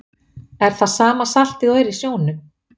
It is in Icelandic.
Er það sama saltið og er í sjónum?